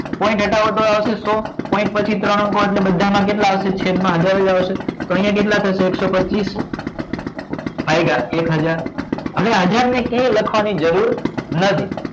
point હટાવો તો થશે સો પોઇન્ટ પછી ત્રણ અંકો એટલે બધામાં કેટલા આવશે છેદમાં હજાર જ આવશે તો અહીંયા કેટલા થશે એકસો ભાગીય એક હજાર અને હજાર ને ક્યાંય લખવાની જરૂર નથી